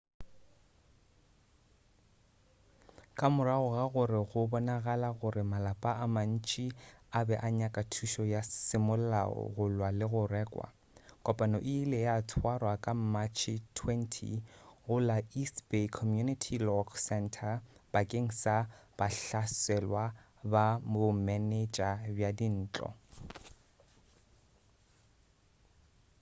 ka morago ga gore go bonagale gore malapa a mantši a be a nyaka thušo ya semolao go lwa le go rakwa kopano e ile ya tswarwa ka matšhe 20 go la east bay community law center bakeng sa bahlaselwa ba bomenetša bja dintlo